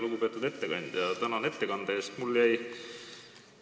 Lugupeetud ettekandja, tänan ettekande eest!